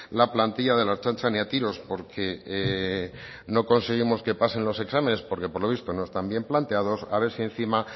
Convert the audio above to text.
la plantilla de la ertzaintza ni a tiros porque no conseguimos que pasen los exámenes porque por lo visto no está bien planteados a ver si encima